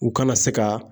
U kana se ka